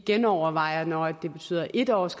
genovervejer når det betyder en års